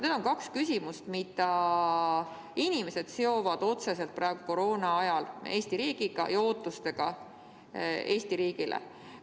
Need on kaks küsimust, mida inimesed seovad praegu koroonaajal otseselt Eesti riigiga ja sellega, mida nad Eesti riigilt ootavad.